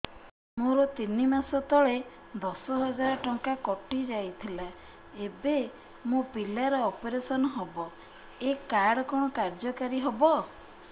ମୋର ତିନି ମାସ ତଳେ ଦଶ ହଜାର ଟଙ୍କା କଟି ଯାଇଥିଲା ଏବେ ମୋ ପିଲା ର ଅପେରସନ ହବ ଏ କାର୍ଡ କଣ କାର୍ଯ୍ୟ କାରି ହବ